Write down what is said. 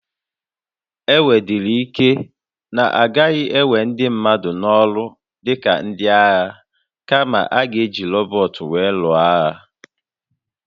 O nwedịrị ike na a gaghị ewe ndị mmadụ n'ọrụ dị ka ndị agha, kama, a ga-eji rọbọt were lụọ agha.